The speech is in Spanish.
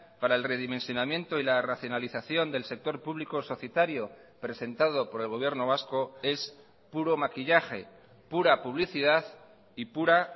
para el redimensionamiento y la racionalización del sector público societario presentado por el gobierno vasco es puro maquillaje pura publicidad y pura